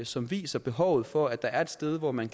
som viser behovet for at der er et sted hvor man